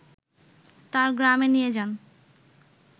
তার গ্রামে নিয়ে যান